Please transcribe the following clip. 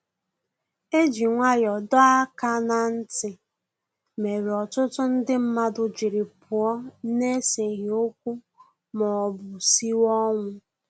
E ji nwayọ dọọ aka na nti, mere ọtụtụ ndị mmadụ jiri pụọ na eseghi okwu ma ọ bụ siwe ọnwụ